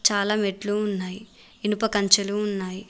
చాలా మెట్లు ఉన్నాయి ఇనుప కంచెలు ఉన్నాయి.